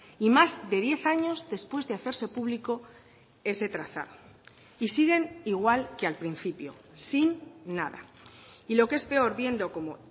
y más de diez años después de hacerse público ese trazado y siguen igual que al principio sin nada y lo que es peor viendo como